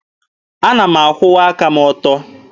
Ana m akwụwa aka m ọtọ.